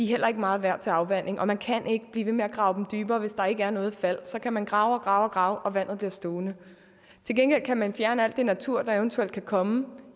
heller ikke meget værd til afvanding og man kan ikke blive ved med at grave dem dybere hvis der ikke er noget fald så kan man grave og grave og grave og vandet bliver stående til gengæld kan man fjerne alt det natur der eventuelt kan komme